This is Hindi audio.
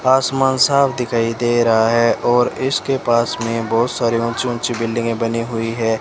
आसमान साफ दिखाई दे रहा है और इसके पास में बहुत सारे ऊंची ऊंची बिल्डिंगे बनी हुई है।